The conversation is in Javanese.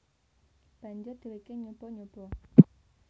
Banjur dheweke nyoba nyoba